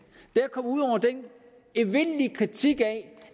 evindelige kritik af